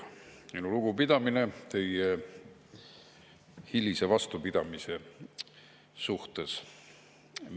Minu lugupidamine teie hilise vastupidamise suhtes!